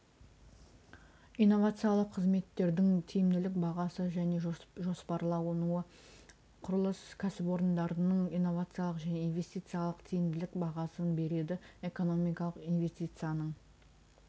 иновациялық қызметтердің тиімділік бағасы және жоспарлануы құрылыс кәсіпорындарының инновациялық және инвестициялық тиімділік бағасын береді экономикалық инвестицияның